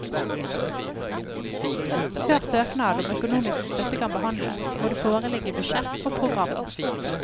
Før søknad om økonomisk støtte kan behandles, må det foreligge budsjett og program.